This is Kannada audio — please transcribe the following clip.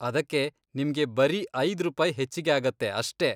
ಅದಕ್ಕೆ ನಿಮ್ಗೆ ಬರೀ ಐದ್ ರೂಪಾಯಿ ಹೆಚ್ಚಿಗೆ ಆಗತ್ತೆ ಅಷ್ಟೇ.